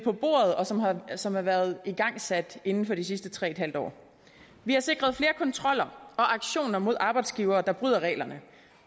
og som og som har været igangsat inden for de sidste tre en halv år vi har sikret flere kontroller og aktioner mod arbejdsgivere der bryder reglerne